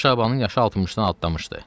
Şeyx Şabanın yaşı 60-dan adlamışdı.